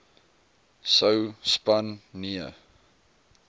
sou span nee